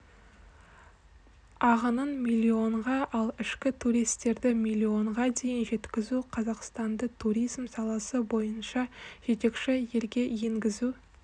ағынын миллионға ал ішкі туристерді миллионға дейін жеткізу қазақстанды туризм саласы бойынша жетекші елге енгізу